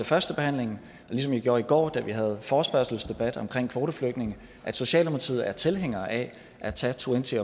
førstebehandlingen og ligesom jeg gjorde i går da vi havde forespørgselsdebat om kvoteflygtninge at socialdemokratiet er tilhængere af at tage twenty